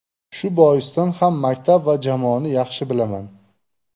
Shu boisdan ham maktab va jamoani yaxshi bilaman.